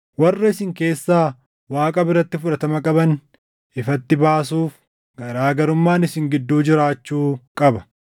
Warra isin keessaa Waaqa biratti fudhatama qaban ifatti baasuuf, garaa garummaan isin gidduu jiraachuu qaba.